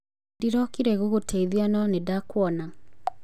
Ndĩrokire gũgũteithia no ndinakuona.